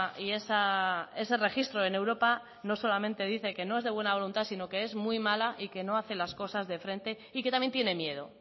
y ese registro en europa no solamente dice que no es de buena voluntad sino que es muy mala y que no hace las cosas de frente y que también tiene miedo